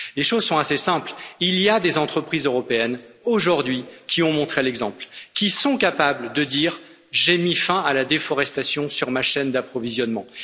Les choses sont assez simples, il y a aujourd'hui des entreprises européennes qui ont montré l'exemple, qui sont capables de dire j'ai mis fin à la déforestation sur ma chaîne d'approvisionnement.